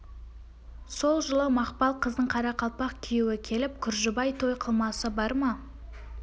сол жылы мақпал қыздың қарақалпақ күйеуі келіп күржібай той қылмасы бар ма